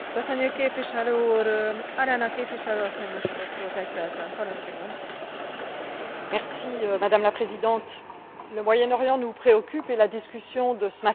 Madame la Présidente, le Moyen Orient nous préoccupe et la discussion de ce matin sur les politiques migratoires nous a rappelé combien cette région est proche de l'Europe.